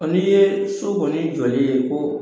Ɔ ni ye so kɔni jɔlen ko